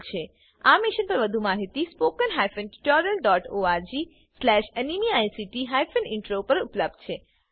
આ મિશન પરની વધુ માહિતી spoken tutorialorgnmeict ઇન્ટ્રો પર ઉપલબ્ધ છે